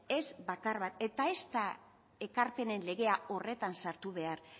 ez bakar bat eta ez da ekarpenen legea horretan sartu behar